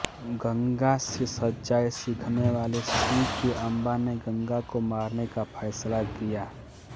गंगा से सच्चाई सीखने वाले शिव के अम्बा ने गंगा को मारने का फैसला किया